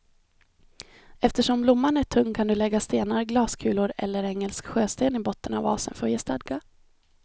Eftersom blomman är tung kan du lägga stenar, glaskulor eller engelsk sjösten i botten av vasen för att ge stadga.